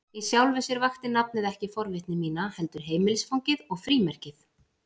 Í sjálfu sér vakti nafnið ekki forvitni mína, heldur heimilisfangið og frímerkið.